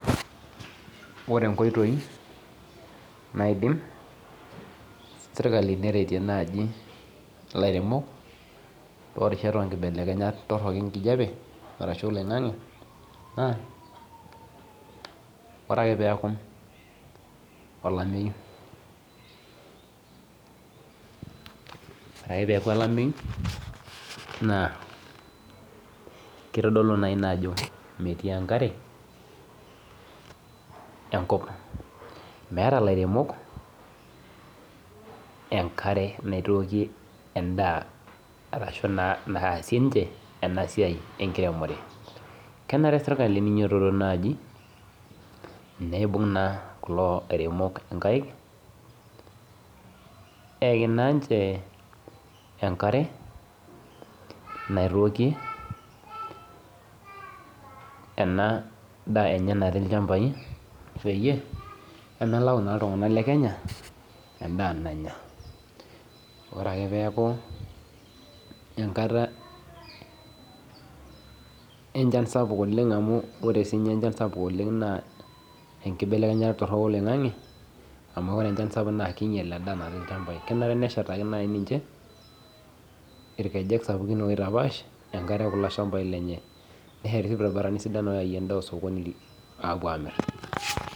Ore inkoitoi naisim serkali neretie naaji ilairemok toorishat torok enkijiape naa ore akee peeku olameyu naa keitodulou ajo metii ejkare enkop meeta ilairemok enkare naitooki emdaa ashua naasie ena siai enkiremore kena re neipung serkali inkaik eeki aenkare naitooki ena daa enye natii ilchambai peemelau iltunganak lekenya endaa nanya ore ake peeku enkata echansapuk oleng amu ore enchan sapuk naa keinyial kenare naaji neshetaki irkejek sapukin oitapaash kulo shambai kenye